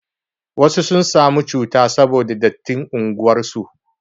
wasu sun samu cuta saboda dattin unguwar su